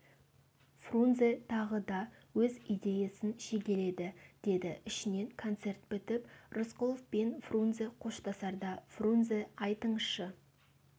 фрунзе тағы да өз идеясын шегеледі деді ішінен концерт бітіп рысқұлов пен фрунзе қоштасарда фрунзе айтыңызшы